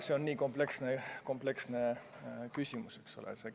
See on nii kompleksne küsimus.